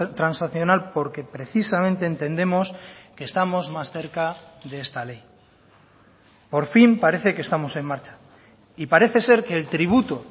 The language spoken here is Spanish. transaccional porque precisamente entendemos que estamos más cerca de esta ley por fin parece que estamos en marcha y parece ser que el tributo